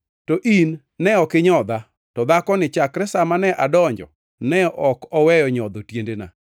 To in ne ok inyodha, to dhakoni chakre sa mane adonjo, ne ok oweyo nyodho tiendena.